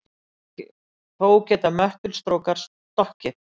Þó geta möttulstrókar stokkið.